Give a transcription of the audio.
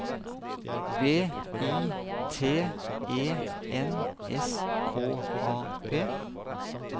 V I T E N S K A P